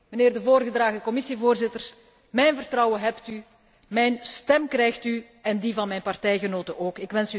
Mijnheer de voorgedragen Commissievoorzitter, mijn vertrouwen hebt u, mijn stem krijgt u en die van mijn partijgenoten ook.